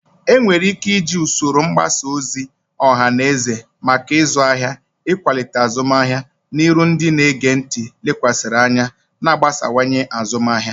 Enwere ike iji usoro mgbasa ozi ọha na eze maka ịzụ ahịa, ịkwalite azụmahịa, na iru ndị na-ege ntị lekwasịrị anya, na-agbasawanye azụmahịa.